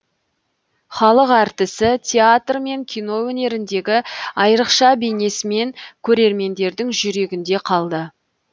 халық әртісі театр мен кино өнеріндегі айрықша бейнесімен көрермендердің жүрегінде қалды